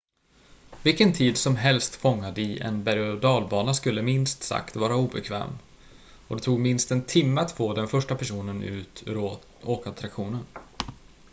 vilken tid som helst fångad i en berg-och dalbana skulle minst sagt vara obekväm och det tog minst en timme att få den första personen ut ur åkattraktionen